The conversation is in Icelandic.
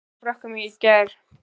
Sáuð þið leikinn hjá Frökkum í gær?